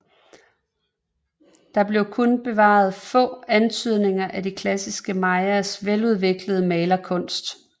Der er kun bevaret få antydninger af de klassiske mayaers veludviklede malerkunst